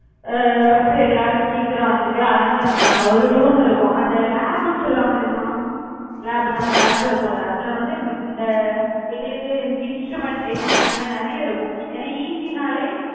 அஹ் first எல்லாரும் சீக்கிரம் வந்துட்டு அலங்காரம் பண்ணுவாங்க. ஒரு room இருக்கும். அந்த lab ன்னு சொல்லுவாங்க தெரியுமா lab நம்ம lab இருக்கும்ல அதுல வந்து இந்த இந்த எங்களுக்கு instrumentation அந்த மாதிரி நிறைய இருக்கும். ஏன்னா ECE ன்னாலே